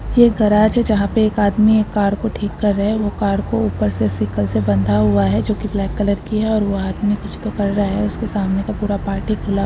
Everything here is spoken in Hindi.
गराज है जहां पे एक आदमी एक कार को ठीक कर रहे हैं। वो कार को ऊपर से शिकर से बांधा हुआ है जोकि ब्लैक कलर की है और वह आदमी कुछ तो कर रहा है उसके सामने का पूरा पार्ट ही खुला हुआ है।